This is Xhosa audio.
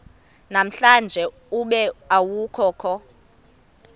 namhlanje ube awukho